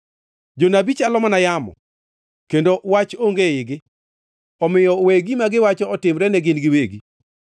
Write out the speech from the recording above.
Jonabi chalo mana yamo kendo wach onge eigi; omiyo we gima giwacho otimre ne gin giwegi.”